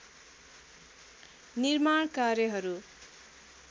निर्माण कार्यहरू